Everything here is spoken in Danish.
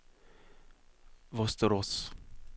Västerås